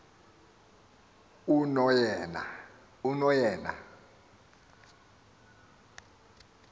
unoyena